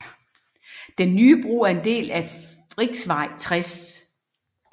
Den nye bro er en del af riksvej 60